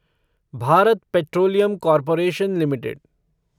Bharat petroleum corporation limited